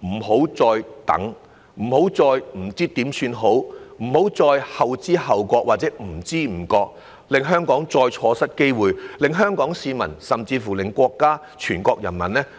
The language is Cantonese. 不要再拖，不要再手足無措，不要再後知後覺或不知不覺，令香港再錯失機會，令香港市民甚至國家及全國人民對我們失望。